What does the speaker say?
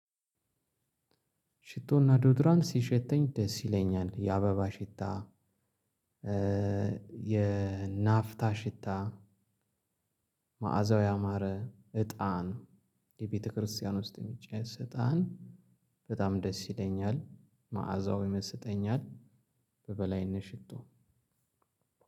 ሽቶና ዶድራንት ሲሸተኝ ደስ ይለኛል። የአበባ ሽታ የ የናፍታ ሽታ። መዓዛው ያማረ እጣን የቤተክርስቲያን ውስጥ የሚጨስ እጣን በጣም ደስ ይለኛል። መዓዛው ይመስጠኛል። በበላይነት ሽቶ